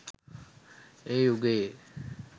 ඒ යුගයේ